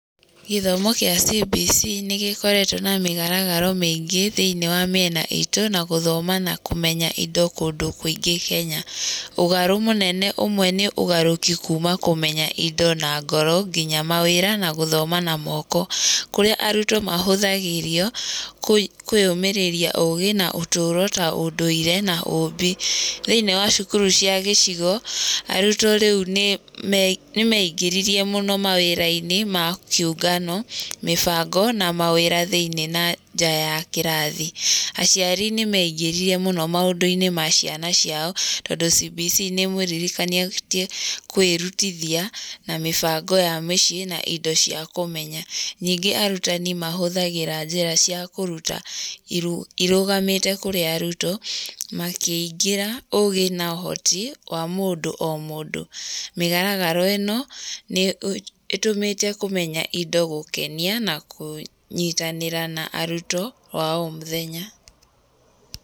Gĩthomo kĩa CBC nĩgĩkoretwo na mĩgaragaro mĩingĩ thĩ-inĩ wa mĩena itũ, na gũthoma na kũmenya indo kũndũ kĩngĩ kenya, ũgarũ mũnene ũmwe nĩ ũgarũki kuma kũmenya indo na ngoro nginya gũthoma na mpko, kũrĩa arutwo mahũthagĩrio kũ kũrũmĩrĩrio ũgĩ ta ũndũire na ũmbi, thĩ-inĩ wa cukuru cia gĩcigo, arutwo rĩu nĩ me, nĩmeingĩririe mũno mawĩra-inĩ ma ciũngano, mĩbango na mawĩra thĩ-inĩ na nja ya kĩrathi, aciari nĩmeingĩririe mũn maũndũ-inĩ ma ciana ciao, tondũ CBC nĩmũririkanĩtie kwĩrutithia, na mĩbango ya mĩciĩ na indo cia kũmenya, ningĩ arutani mahũthagĩra njĩra cia kũruta iru, irũgamite kũrĩ arutwo, makĩngĩra ũgĩ na ũhoti wa mũndũ o mũndũ, mĩgaragaro ĩno nĩye nĩtũmĩte kũmenya indo gũkenia na kũnyitanĩra na arutwo oro mũthenya.